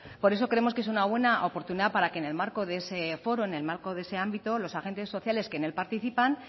por eso creemos que es una buena oportunidad para que en el marco de ese foro en el marco de ese ámbito los agentes sociales que en él participan